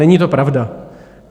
Není to pravda.